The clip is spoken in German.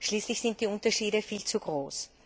Schließlich sind die Unterschiede viel zu groß.